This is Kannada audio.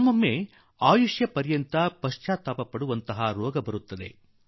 ಕೆಲವೊಮ್ಮೆ ನಾವು ಇಡೀ ಜೀವನಪರ್ಯಂತ ಪಶ್ಚಾತ್ತಾಪಪಡುವ ವ್ಯಾದಿ ಬಂದು ಬಿಡುತ್ತದೆ